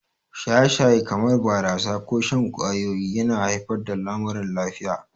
Shaye-shaye, kamar barasa ko shan ƙwayoyi, yana haifar da lamuran lafiya.